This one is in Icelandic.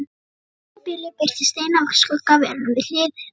Í sama bili birtist ein af skuggaverunum við hlið hennar.